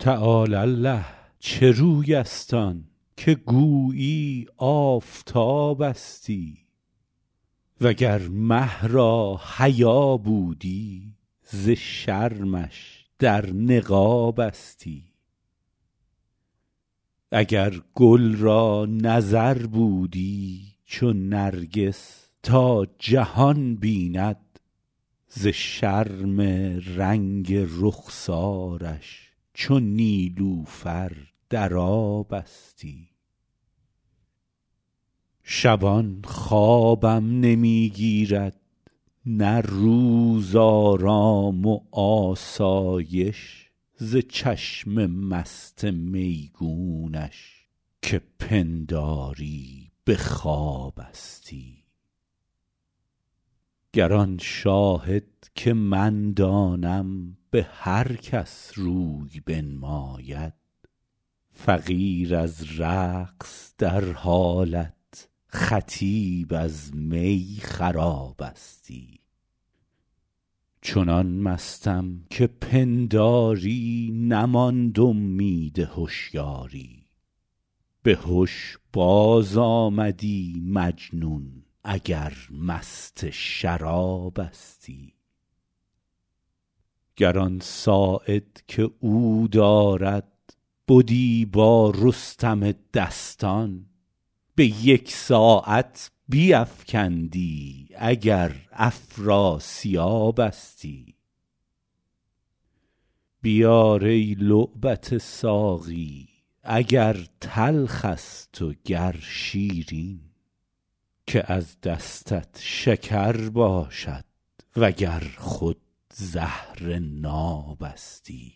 تعالی الله چه روی است آن که گویی آفتابستی و گر مه را حیا بودی ز شرمش در نقابستی اگر گل را نظر بودی چو نرگس تا جهان بیند ز شرم رنگ رخسارش چو نیلوفر در آبستی شبان خوابم نمی گیرد نه روز آرام و آسایش ز چشم مست میگونش که پنداری به خوابستی گر آن شاهد که من دانم به هر کس روی بنماید فقیر از رقص در حالت خطیب از می خرابستی چنان مستم که پنداری نماند امید هشیاری به هش بازآمدی مجنون اگر مست شرابستی گر آن ساعد که او دارد بدی با رستم دستان به یک ساعت بیفکندی اگر افراسیابستی بیار ای لعبت ساقی اگر تلخ است و گر شیرین که از دستت شکر باشد و گر خود زهر نابستی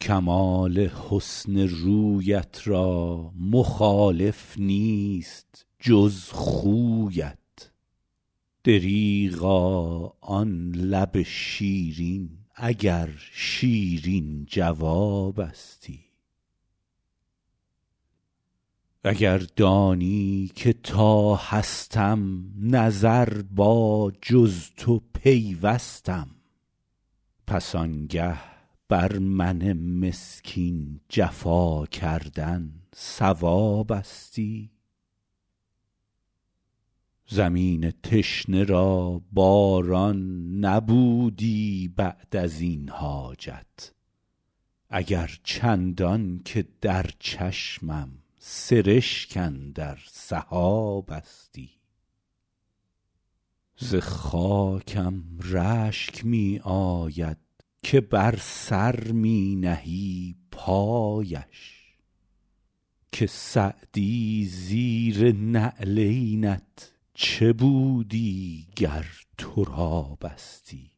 کمال حسن رویت را مخالف نیست جز خویت دریغا آن لب شیرین اگر شیرین جوابستی اگر دانی که تا هستم نظر با جز تو پیوستم پس آنگه بر من مسکین جفا کردن صوابستی زمین تشنه را باران نبودی بعد از این حاجت اگر چندان که در چشمم سرشک اندر سحابستی ز خاکم رشک می آید که بر سر می نهی پایش که سعدی زیر نعلینت چه بودی گر ترابستی